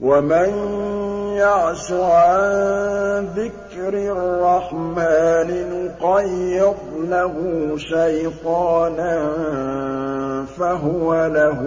وَمَن يَعْشُ عَن ذِكْرِ الرَّحْمَٰنِ نُقَيِّضْ لَهُ شَيْطَانًا فَهُوَ لَهُ